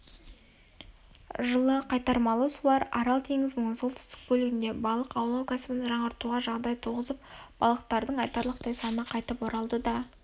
жылы қайтармалы сулар арал теңізінің солтүстік бөлігінде балық аулау кәсібін жаңғыртуға жағдай туғызып балықтардың айтарлықтай саны қайтып оралды да